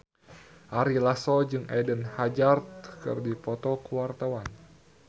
Ari Lasso jeung Eden Hazard keur dipoto ku wartawan